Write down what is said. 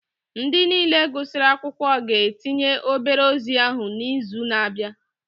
Ndị niile gụsịrị akwụkwọ ga-etinye obere ozi ahụ n'izu na-abịa